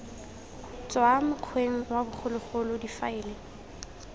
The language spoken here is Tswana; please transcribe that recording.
tswa mokgweng wa bogologolo difaele